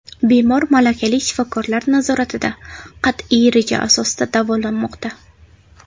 Bemor malakali shifokorlar nazoratida qat’iy reja asosida davolanmoqda.